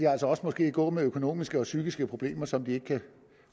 gå med økonomiske og psykiske problemer som de ikke kan